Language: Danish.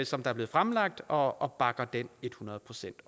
som er blevet fremlagt og og bakker den et hundrede procent